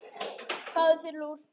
Fáðu þér lúr.